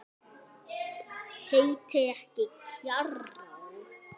Heitir ekki Kjarrá!